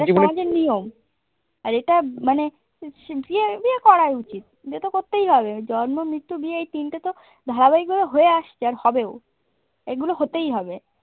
এটা সমাজের নিয়ম। আর এটা মানে বিয়ে, বিয়ে করাই উচিত। বিয়ে তো করতেই হবে জন্ম মৃত্যু দিয়ে এই তিনটে তো ধারাবাহিকভাবে হয়ে আসছে আর হবেও। এগুলো হতেই হবে।